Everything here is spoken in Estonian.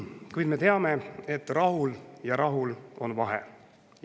Kuid me teame, et rahul ja rahul on vahe.